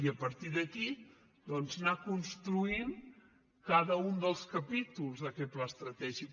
i a partir d’aquí doncs anar construint cada un dels capítols d’aquest pla estratègic